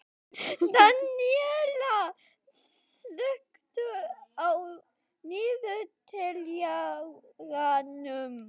Daníella, slökktu á niðurteljaranum.